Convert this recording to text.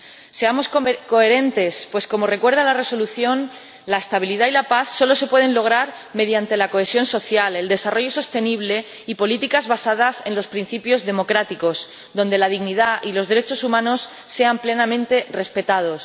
Seamos coherentes pues, como recuerda la Resolución, la estabilidad y la paz solo se pueden lograr mediante la cohesión social, el desarrollo sostenible y políticas basadas en los principios democráticos, en las que la dignidad y los derechos humanos sean plenamente respetados.